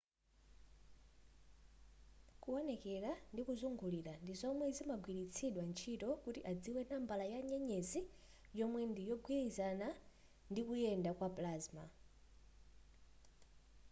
kuwonekera ndi kuzungulira ndi zomwe zimagwilitsidwa ntchito kuti adziwe nambala ya nyenyezi yomwe ndi yogwilizana ndikuyenda kwa plasma